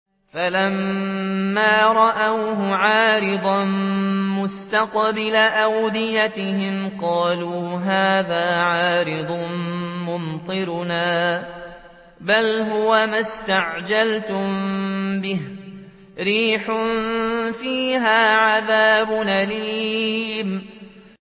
فَلَمَّا رَأَوْهُ عَارِضًا مُّسْتَقْبِلَ أَوْدِيَتِهِمْ قَالُوا هَٰذَا عَارِضٌ مُّمْطِرُنَا ۚ بَلْ هُوَ مَا اسْتَعْجَلْتُم بِهِ ۖ رِيحٌ فِيهَا عَذَابٌ أَلِيمٌ